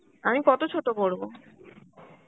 আমি কত ছোট করব?